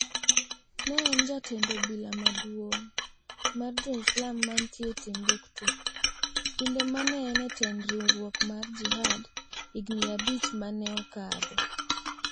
ne en jatend obila maduong' mar jo Islam mantie Timbuktu, kinde mane en e tend riwruok mar Jihad, higni abich mane okadho.